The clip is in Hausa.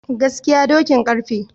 Gaskiya dokin garfe